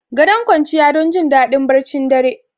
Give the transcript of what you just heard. Gadon kwanciya don jin daɗin barcin dare.